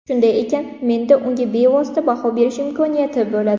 Shunday ekan menda unga bevosita baho berish imkoniyati bo‘ladi.